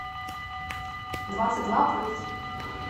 двадцать два плюс